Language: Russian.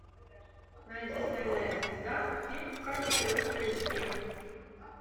найди стальная звезда фильм в качестве ультра эйч ди